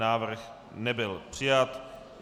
Návrh nebyl přijat.